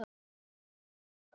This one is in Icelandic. Jón: Eru jólin komin?